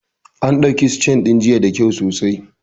An dauki Scene ɗin jiya da kyau sosai